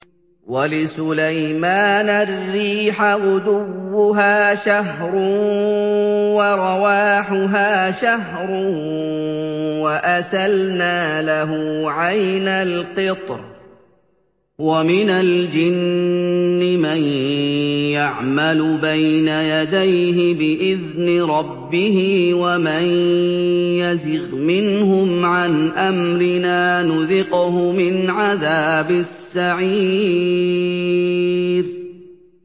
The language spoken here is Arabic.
وَلِسُلَيْمَانَ الرِّيحَ غُدُوُّهَا شَهْرٌ وَرَوَاحُهَا شَهْرٌ ۖ وَأَسَلْنَا لَهُ عَيْنَ الْقِطْرِ ۖ وَمِنَ الْجِنِّ مَن يَعْمَلُ بَيْنَ يَدَيْهِ بِإِذْنِ رَبِّهِ ۖ وَمَن يَزِغْ مِنْهُمْ عَنْ أَمْرِنَا نُذِقْهُ مِنْ عَذَابِ السَّعِيرِ